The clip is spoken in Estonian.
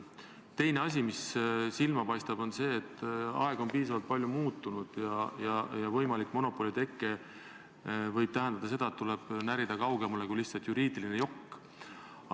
Teine asi, mis silma paistab, on see, et aeg on piisavalt palju muutunud ja võimalik monopoli teke võib tähendada seda, et tuleb närida kaugemale kui lihtsalt jokk.